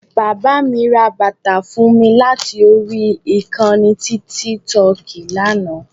Bàbá mi ra bàtà fún mi láti orí ìkànnì tíkítọọ̀kì lánàá